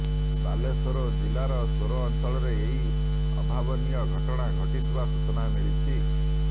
ବାଲେଶ୍ୱର ଜିଲ୍ଲାର ସୋର ଅଂଚଳରେ ଏହି ଅଭାବନୀୟ ଘଟଣା ଘଟିଥିବା ସୂଚନା ମିଳିଛି